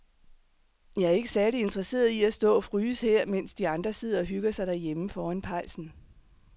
Jeg er ikke særlig interesseret i at stå og fryse her, mens de andre sidder og hygger sig derhjemme foran pejsen.